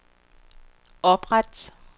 opret